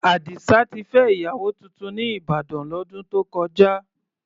Àdìsá ti fẹ́ ìyàwó tuntun ní Ìbàdàn, lọ́dún tó kọjá.